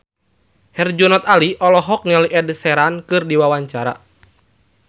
Herjunot Ali olohok ningali Ed Sheeran keur diwawancara